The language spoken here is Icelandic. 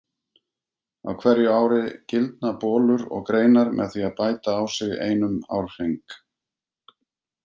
Á hverju ári gildna bolur og greinar með því að bæta á sig einum árhring.